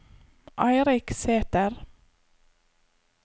Eirik Sæter